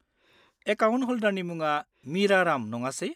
-Account हल्डारनि मुङा मिरा राम नङासे?